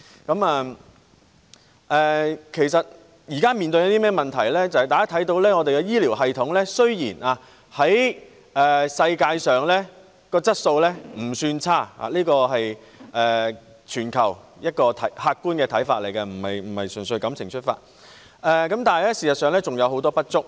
現時的問題是，雖然香港醫療系統的質素在世界上不算差——這是全球的一個客觀看法，我不是純粹感情出發——但事實上仍有很多不足之處。